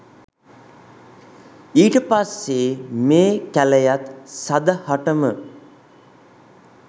ඊට පස්සේ මේ කැලයත් සදහටම